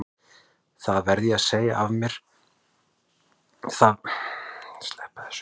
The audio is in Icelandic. Það verð ég að segja að mér hafa alltaf leiðst hundar.